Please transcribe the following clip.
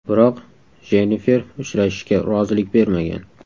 Biroq Jennifer uchrashishga rozilik bermagan.